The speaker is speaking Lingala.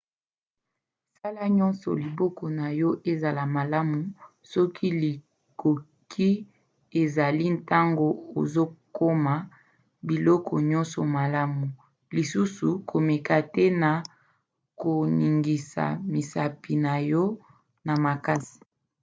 sala nyonso liboko na yo ezala malamu soki likoki ezali ntango ozokoma biloko nyonso malamu - lisusu komeka te na koningisa misapi na yo na makasi